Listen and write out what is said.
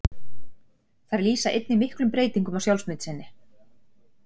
Þær lýsa einnig miklum breytingum á sjálfsmynd sinni.